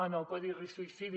en el codi risc suïcidi